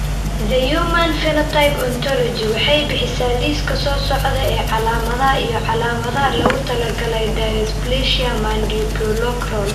The Human Phenotype Ontology waxay bixisaa liiska soo socda ee calaamadaha iyo calaamadaha loogu talagalay dysplasia Mandibuloacral.